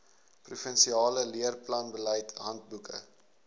provinsiale leerplanbeleid handboeke